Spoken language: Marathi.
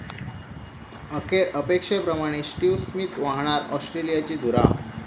अखेर अपेक्षेप्रमाणे स्टीव्ह स्मिथ वाहणार ऑस्ट्रेलियाची धुरा